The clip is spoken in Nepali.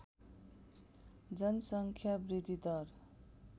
जनसङ्ख्या वृद्धिदर